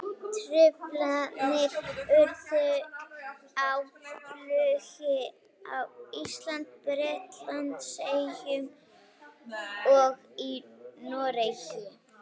Truflanir urðu á flugi á Íslandi, Bretlandseyjum og í Noregi.